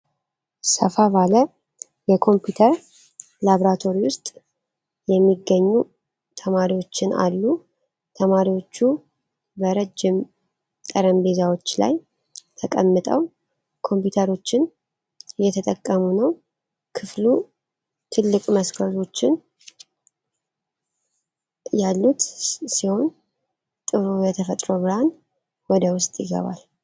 ሰፋ ባለ የኮምፒዩተር ላብራቶሪ ውስጥ የሚገኙ ተማሪዎችን አሉ። ተማሪዎቹ በረጅም ጠረጴዛዎች ላይ ተቀምጠው ኮምፒዩተሮችን እየተጠቀሙ ነው። ክፍሉ ትልቅ መስኮቶች ያሉት ሲሆን፣ ጥሩ የተፈጥሮ ብርሃን ወደ ውስጥ ይገባል።